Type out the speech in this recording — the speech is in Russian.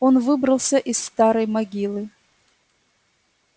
он выбрался из старой могилы